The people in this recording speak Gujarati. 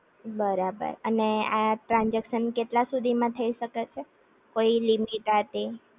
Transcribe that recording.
બરાબર અને આ ટ્રાનજેક્શન કેટલા સુધી માં થઈ શકે છે? કોઈ લિમિટ આ તે